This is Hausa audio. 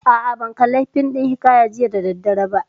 A'a, ban kalli fim ɗin hiƙaya jiya da daddare ba